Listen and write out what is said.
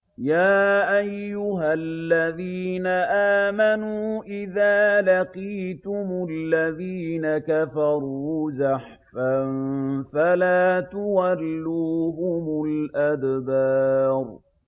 يَا أَيُّهَا الَّذِينَ آمَنُوا إِذَا لَقِيتُمُ الَّذِينَ كَفَرُوا زَحْفًا فَلَا تُوَلُّوهُمُ الْأَدْبَارَ